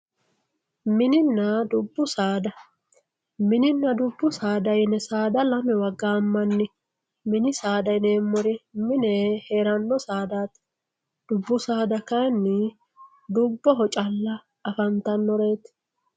Mininna dubbu saada, mininna dubbu saada yine saada lamewa gaamani mini saada yineemmori mine heerano saadati dubbu saada kayinni dubboho calla afantanoreti.